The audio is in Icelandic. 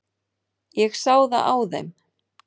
Ég sá það á þeim.